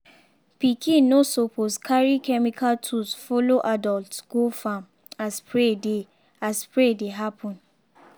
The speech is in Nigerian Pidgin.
pikin no suppose carry chemical tools follow adult go farm as spray dey as spray dey happen.